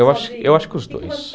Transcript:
Eu eu acho que os dois.